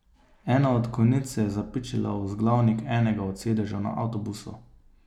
Ena od konic se je zapičila v vzglavnik enega od sedežev na avtobusu.